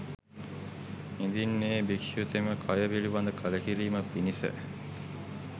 ඉදින් එ භික්‍ෂුතෙම කය පිළිබඳ කලකිරීම පිණිස